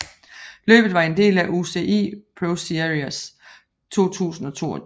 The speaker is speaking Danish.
Løbet var en del af UCI ProSeries 2022